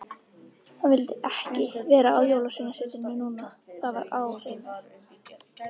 Hann vildi ekki vera á Jólasveinasetrinu núna, það var á hreinu.